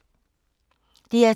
DR2